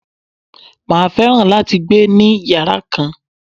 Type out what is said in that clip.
Màá fẹ́ràn láti gbé ni yàrá kan.